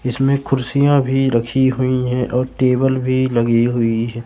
इसमे खुर्सिया भी रखी हुई है और टेबल भी लगी हुई है।